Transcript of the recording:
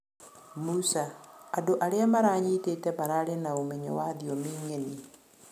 Musa: andũ arĩa maranyĩtĩte mararĩ na ũmenyo wa thĩomĩ ng'eni